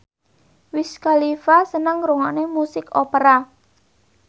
Wiz Khalifa seneng ngrungokne musik opera